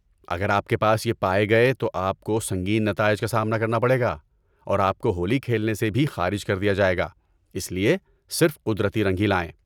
اگر آپ کے پاس یہ پائے گئے تو آپ کو سنگین نتائج کا سامنا کرنا پڑے گا اور آپ کو ہولی کھیلنے سے بھی خارج کر دیا جائے گا۔ اس لیے صرف قدرتی رنگ ہی لائیں!